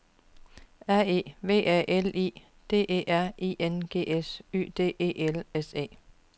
R E V A L I D E R I N G S Y D E L S E